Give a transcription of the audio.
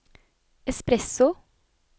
espresso